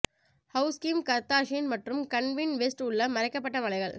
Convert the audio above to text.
house Kim Kardashian மற்றும் Kanye West உள்ள மறைக்கப்பட்ட மலைகள்